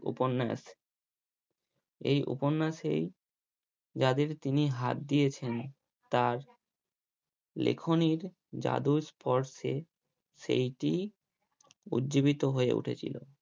উপন্যাস এই উপন্যাস এই যাদের তিনি হাত দিয়েছেন তার লেখনির জাদুর স্পর্শে সেইটি উৎজীবিত হয়ে উঠেছিল।